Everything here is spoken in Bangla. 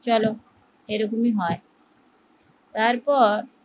চলো এরকমই হয় তারপর